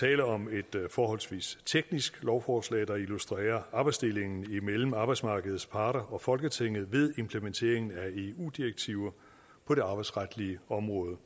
tale om et forholdsvis teknisk lovforslag der illustrerer arbejdsdelingen mellem arbejdsmarkedets parter og folketinget ved implementeringen af eu direktiver på det arbejdsretlige område